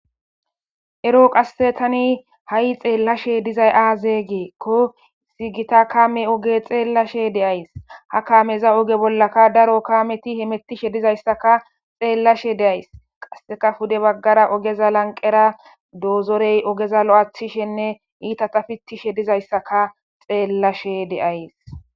ero qassetani ha7i xeellashe dizay aaze geekko sigita kame oge xeellashe deays ha kaameza oge bollaka daro kaameti hemetishe dizayssaka xeellashe deays qasseka fude baggara ogeza lanqera doozorey ogeza lo7aththishenne iita tafitishe dizayssaka xeellashe deayes